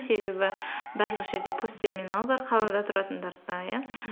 себебі барлық жерде пос терминал бар қалада тұратындарда иә